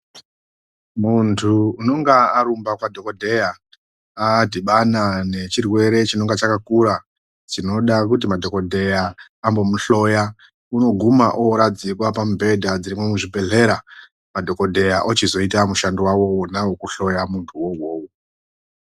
Muntu unonga arumba kwadhogodheya adhibana nechirwere chinenge chakakura chinoda kuti madhogodheya ambomuhloya. Unoguma oradzikwa pamubhedha dzirimwo muzvibhedhlera madhogodheya ochizoita mushando vavo vona vokuhloya muntu vovovo.